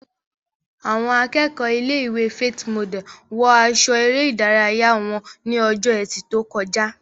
Àwọn akẹ́kọ̀ọ́ ilé-ìwé Faith Model wọ aṣọ eré ìdárayá wọn ní ọjọ́ ẹtì tó kọjá